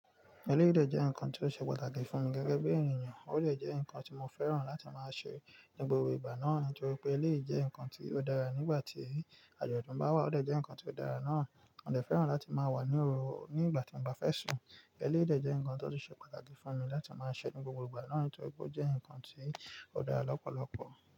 Eléyèii jẹ́ nǹkan tí ó ṣe pàtàkì fún mi gẹ́gẹ́ bí ènìyàn, ó de je nǹkan tí mo fẹ́ràn láti máa ṣe ní gbogbo ìgbà náà torí pé eléyii nǹkan tí ó dára. Nígbà tí àjọ̀dún bá wà, ó jẹ́ nǹkan tí ó dára náà. Mo jẹ́ fẹ́ràn láti máa wà ní òwò nígbà tí mo bá fẹ́ sùn. Eléyii de jẹ́ nǹkan tó ṣe pàtàkì fún mi láti máa ṣe ní gbogbo ìgbà náà torí pé ó jẹ́ nǹkan tí ó dára lọ́pọ̀lọpọ̀.